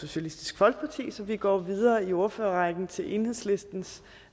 socialistisk folkeparti så vi går videre i ordførerrækken til enhedslistens